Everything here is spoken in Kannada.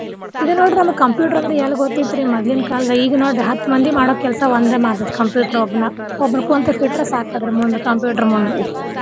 ಇದ ನೋಡ್ರಿ ನಮ್ಗ computer ಅಂದ್ರ ಎಲ್ಲ್ ಗೊತ್ತ್ ಇತ್ರಿ ಮದ್ಲಿನ್ ಕಾಲ್ದಾಗ ಈಗ ನೋಡ್ರಿ ಹತ್ತ್ ಮಂದಿ ಮಾಡೊ ಕೆಲ್ಸ ಒಂದ ಮಾಡ್ತೇತಿ computer ಒಬ್ನ ಒಬ್ನ ಕುಂತ ಬಿಟ್ರ ಸಾಕ ಅದರ ಮುಂದ್ computer ಮುಂದ್.